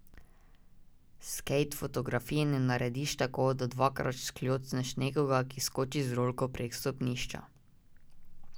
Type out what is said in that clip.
Skejt fotografije ne narediš tako, da dvakrat škljocneš nekoga, ki skoči z rolko prek stopnišča.